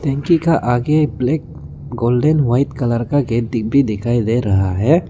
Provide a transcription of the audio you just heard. टंकी का आगे ब्लैक गोल्डेन व्हाइट कलर का गेट भी दिखाई दे रहा है।